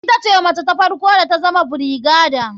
Ita ce mace ta farko da tazama brigadier.